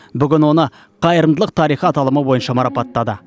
бүгін оны қайырымдылық тарихы аталымы бойынша марапаттады